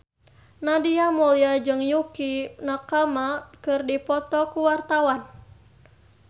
Nadia Mulya jeung Yukie Nakama keur dipoto ku wartawan